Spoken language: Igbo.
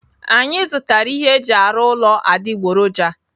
Anyị zụtara ihe eji arụ ụlọ adịgboroja.